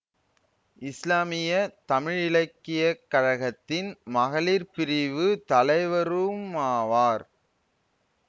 இஸ்லாமிய தமிழிலக்கியக்கழகத்தின் மகளிர் பிரிவு தலைவருமாவார்